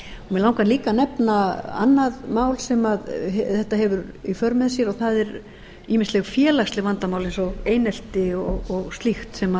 langar líka að nefna annað mál sem þetta hefur í för mér og það eru ýmisleg félagsleg vandamál eins og einelti og slíkt sem